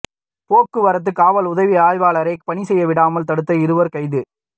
போக்குவரத்து காவல் உதவி ஆய்வாளரை பணி செய்யவிடாமல் தடுத்த இருவா் கைது